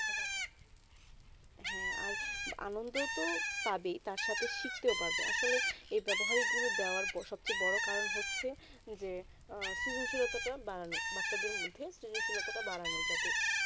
হেঁ আর আনন্দ তো পাবে তার সাথে শিখতো পাবে আসলে এই ব্যবহারিক গুলু দেবার সব থেকে বোরো কারণ হচ্ছে যে শ্রীশিলিত তো বানানো বাচ্চাদের মদদে শ্রীশিলিত তো বাড়ানো যাতে